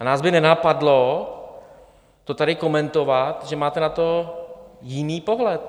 A nás by nenapadlo to tady komentovat, že máte na to jiný pohled.